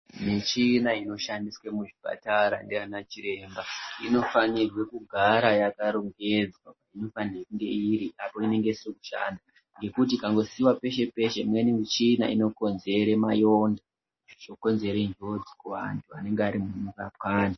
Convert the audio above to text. Michina inoshandiswa muzvipatara nana chiremba unofana kugara yakarongedzwa nepainenge iri yekuti ikasiiwa peshe peshe imweni michina inokonzerwa kukonzeres njodzi kuvanhu vanenge vachirapa antu.